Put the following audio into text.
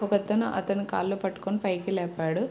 ఒకతను అతని కాలు పట్టుకుని పైకి లేపాడు.